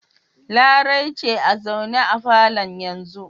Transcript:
Larai ce a zaune a falon yanzu.